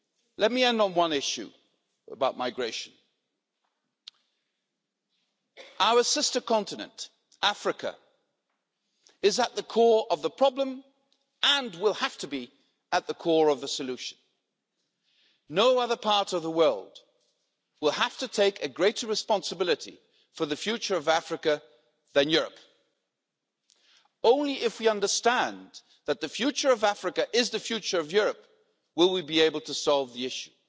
Let me end on one issue about migration. Our sister continent, Africa, is at the core of the problem and will have to be at the core of the solution. No other parts of the world will have to take a greater responsibility for the future of Africa than Europe. Only if we understand that the future of Africa is the future of Europe, will we be able to solve the issue.